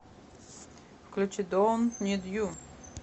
включи донт нид ю